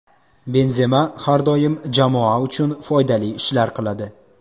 Benzema har doim jamoa uchun foydali ishlar qiladi.